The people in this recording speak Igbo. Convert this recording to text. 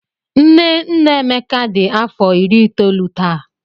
Nne nne Emeka dị afọ iri itoolu taa.